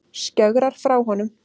Skjögrar frá honum.